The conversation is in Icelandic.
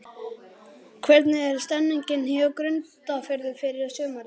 Hvernig er stemningin hjá Grundarfirði fyrir sumarið?